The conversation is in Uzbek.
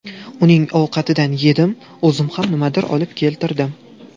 Uning ovqatidan yedim, o‘zim ham nimadir olib keltirdim.